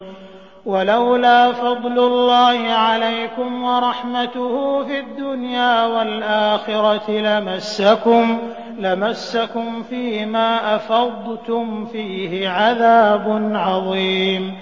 وَلَوْلَا فَضْلُ اللَّهِ عَلَيْكُمْ وَرَحْمَتُهُ فِي الدُّنْيَا وَالْآخِرَةِ لَمَسَّكُمْ فِي مَا أَفَضْتُمْ فِيهِ عَذَابٌ عَظِيمٌ